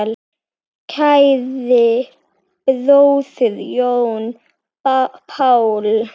Kæri bróðir, Jón Páll.